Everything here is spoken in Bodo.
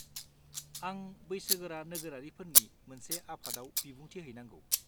आं बैसोगोरा नोगोरारिफोरनि मोनसे आफादआव बिबुंथि हैनांगौ।